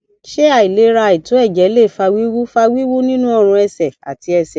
ṣé àìlera àìto ẹjẹ lè fa wiwu fa wiwu nínú orun ẹsẹ àti ẹsẹ